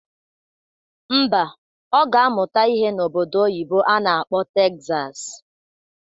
Ḿbà, Ọ ga-amụta ihe n'obodo oyibo a na-akpọ Tegzas